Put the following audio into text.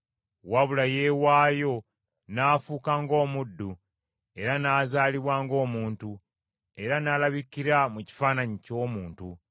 wabula yeewaayo n’afuuka ng’omuddu, era n’azaalibwa ng’omuntu, era n’alabikira mu kifaananyi ky’omuntu,